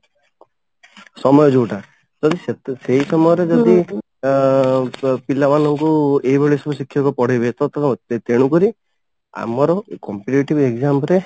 ସମୟ ଯଉଟା ଯଦି ସେ ସେଇ କାମରେ ଯଦି ଅ ପିଲା ମାନଙ୍କୁ ଏଇ ଭଳି ସବୁ ଶିକ୍ଷକ ପଢେଇବେ ତ ତ ତେଣୁ କରି ଆମର competitive exam ରେ